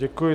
Děkuji.